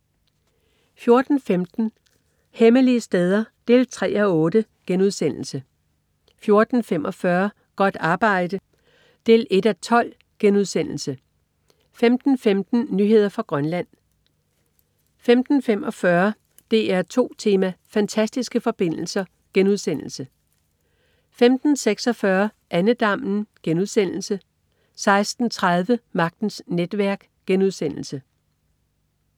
14.15 Hemmelige steder 3:8* 14.45 Godt arbejde 1:12* 15.15 Nyheder fra Grønland 15.45 DR2 Tema: Fantastiske forbindelser* 15.46 Andedammen* 16.30 Magtens netværk*